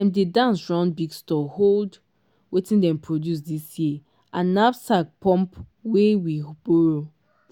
dem dey dance round big store hold wetin dem produce dis year and knapsack pump wey we borrow.